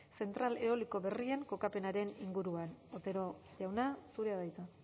zentral eoliko berrien kokapenaren inguruan otero jauna zurea da hitza